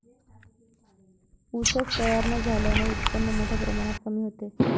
ऊसच तयार न झाल्याने उत्पन्न मोठ्या प्रमाणात कमी होते.